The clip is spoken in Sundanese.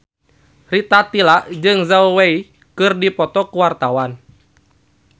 Rita Tila jeung Zhao Wei keur dipoto ku wartawan